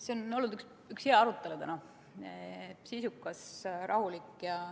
See on olnud üks hea arutelu täna: sisukas, rahulik.